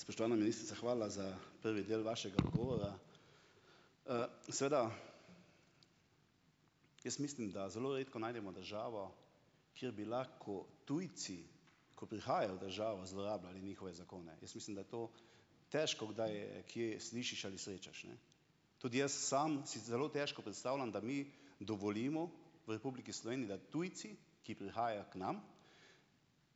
Spoštovana ministrica hvala za prvi del vašega odgovora. Seveda jaz mislim, da zelo redko najdemo državo, kjer bi lahko tujci, ko prihajajo v državo, zlorabljali njihove zakone. Jaz mislim, da je to težko kdaj kje slišiš ali srečaš, ne. Tudi jaz sam si zelo težko predstavljam, da mi dovolimo v Republiki Sloveniji, da tujci, ki prihajajo k nam,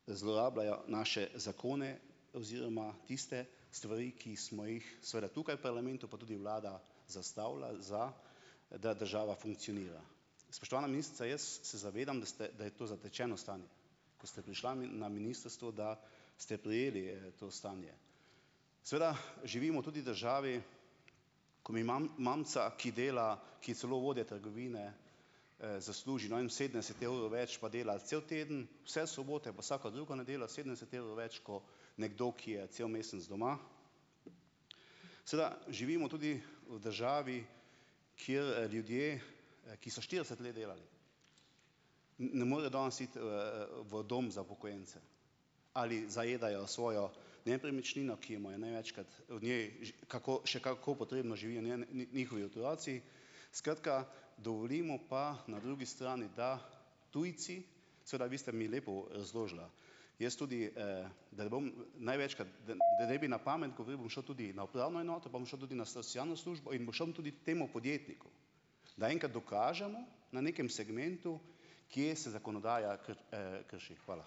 zlorabljajo naše zakone oziroma tiste stvari, ki smo jih seveda tukaj v parlamentu pa tudi vlada zastavila, za da država funkcionira. Spoštovana ministrica, jaz se zavedam, da ste je to zatečeno stanje, ko ste prišla na ministrstvo, da ste prejeli, to stanje. Seveda živimo tudi v državi, ko mi mamica, ki dela, ki je celo vodja trgovine, zasluži, ne vem, sedemdeset evrov več, pa dela cel teden, vse sobote pa vsako drugo nedeljo. Sedemdeset evrov več ko nekdo, ki je cel mesec doma. Seveda živimo tudi v državi, kjer ljudje, ki so štirideset let delali, ne morejo danes iti, v dom za upokojence. Ali zajedajo svojo nepremičnino, ki jo imajo največkrat od nje, že kako še kako potrebno živijo njihovi otroci. Skratka, dovolimo pa, da na drugi strani da tujci, seveda vi ste mi lepo razložila. Jaz tudi, da ne bom največkrat da da ne bi na pamet govoril, bom šel tudi na upravno enoto, pa bom šel tudi na socialno službo. In bom šel tudi temu podjetniku, da enkrat dokažemo na nekem segmentu, kje se zakonodaja krši. Hvala.